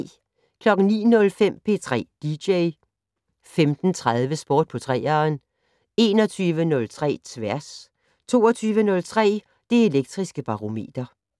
09:05: P3 dj 15:03: Sport på 3'eren 21:03: Tværs 22:03: Det Elektriske Barometer